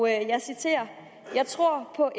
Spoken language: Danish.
jeg citerer jeg tror på